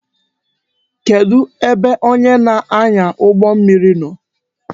Kedu ebe onye na-anya ụgbọ mmiri nọ?